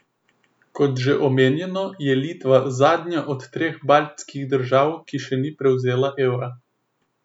Kot že omenjeno, je Litva zadnja od treh baltskih držav, ki še ni prevzela evra.